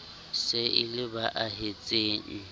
se e le ba ahetseng